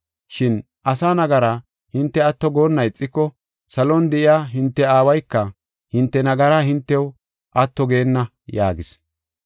Shin asa nagara hinte atto goonna ixiko, salon de7iya hinte Aawayka hinte nagaraa hintew atto geenna” yaagis.